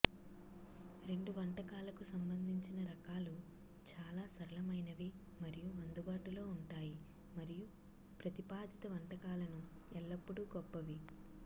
రెండు వంటకాలకు సంబంధించిన రకాలు చాలా సరళమైనవి మరియు అందుబాటులో ఉంటాయి మరియు ప్రతిపాదిత వంటకాలను ఎల్లప్పుడూ గొప్పవి